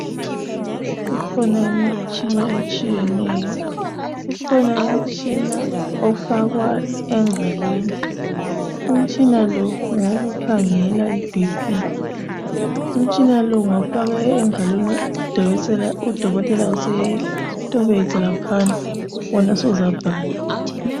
Ikhona imitshina etshiyeneyo. Ukhona umitshina ofakwa engalweni. Umtshina lo ngowokukhangela i BP. Umutshina lo ungawufaka engalweni, udokotela usetobedza laphana, wena suzabhala